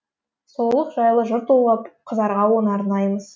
сұлулық жайлы жыр толғап қызарға оны арнаймыз